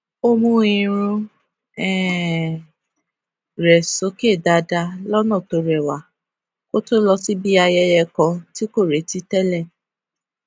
ó mú irun um rè sókè dáadáa lọnà tó rẹwa kó tó lọ síbi ayẹyẹ kan tí kò retí tẹlẹ